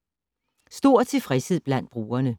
Stor tilfredshed blandt brugerne